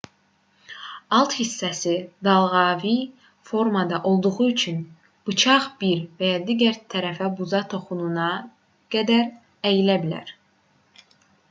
alt hissəsi dalğavari formada olduğu üçün bıçaq bir və ya digər tərəfə buza toxunana qədər əyilə bilər